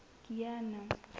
kiana